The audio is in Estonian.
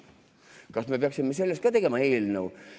Kas me peaksime sellest ka tegema eelnõu?